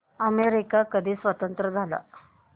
America कधी स्वतंत्र झाला